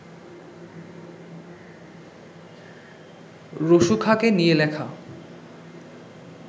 রসু খাঁকে নিয়ে লেখা